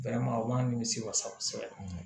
o b'a nimisi wasa